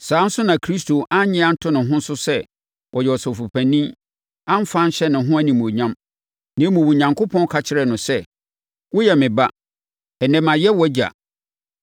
Saa ara nso na Kristo annye anto ne ho so sɛ ɔyɛ Ɔsɔfopanin amfa anhyɛ ne ho animuonyam. Na mmom, Onyankopɔn ka kyerɛɛ no sɛ, “Woyɛ me Ba: ɛnnɛ, mayɛ wʼAgya.”